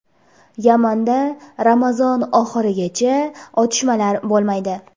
Yamanda Ramazon oxirigacha otishmalar bo‘lmaydi.